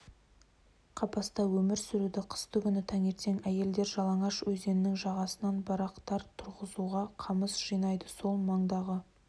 қапаста өмір сүрді қыстыгүні таңертең әйелдер жалаңаш өзенінің жағасынан барақтар тұрғызуға қамыс жинайды сол маңдағы